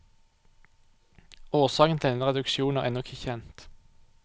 Årsaken til denne reduksjon er ennå ikke kjent.